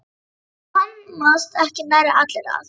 Það komast ekki nærri allir að.